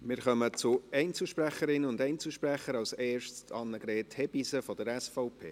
Wir kommen zu Einzelsprecherinnen und Einzelsprechern, zuerst zu Annegret Hebeisen, SVP.